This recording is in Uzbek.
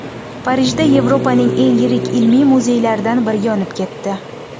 Parijda Yevropaning eng yirik ilmiy muzeylaridan biri yonib ketdi.